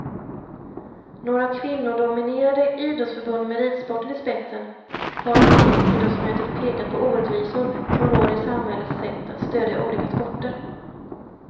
Några kvinnodominerade idrottsförbund med ridsporten i spetsen har till riksidrottsmötet pekat på orättvisor som råder i samhällets sätt att stödja olika sporter.